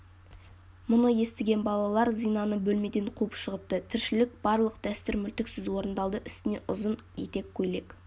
мұны естіген балалар зинаны бөлмеден қуып шығыпты тіршілік барлық дәстүр мүлтіксіз орындалды үстіне ұзын етек көйлек